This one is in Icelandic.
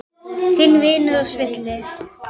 Þinn vinur og svili.